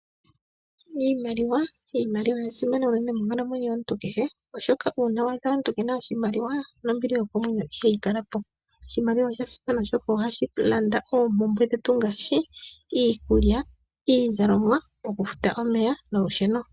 Iimaliwa, iimaliwa oya simana unene monkalamwenyo yomuntu kehe, oshoka una wa adha omuntu kena oshimaliwa, nombili yokomwenyo ihayi kala po. Oshimaliwa osha simana oshoka ohashi landa oompumbwe dhetu ngaashi iikulya, iizalomwa, oku futa omeya nolusheno.